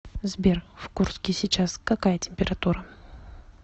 сбер в курске сейчас какая температура